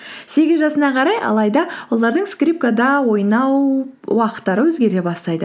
сегіз жасына қарай алайда олардың скрипкада ойнау уақыттары өзгере бастайды